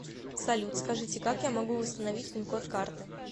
салют скажите как я могу восстановить пин код карты